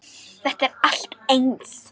Þetta er allt eins!